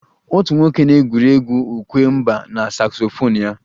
Otu nwoke na-egwuri egwu ukwe mba na saksofon ya